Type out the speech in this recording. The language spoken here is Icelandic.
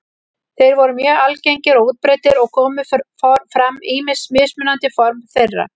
Þeir voru mjög algengir og útbreiddir og komu fram ýmis mismunandi form þeirra.